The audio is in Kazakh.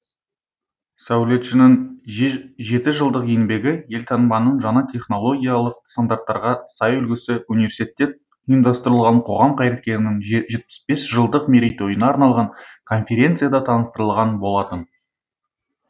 сәулетшінің жеті жылдық еңбегі елтаңбаның жаңа технологиялық стандарттарға сай үлгісі университетте ұйымдастырылған қоғам қайраткерінің жетпіс бес жылдық мерейтойына арналған конференцияда таныстырылған болатын